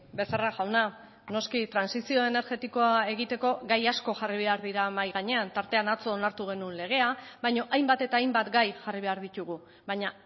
becerra jauna noski trantsizio energetikoa egiteko gai asko jarri behar dira mahai gainean tartean atzo onartu genuen legea baina hainbat eta hainbat gai jarri behar ditugu baina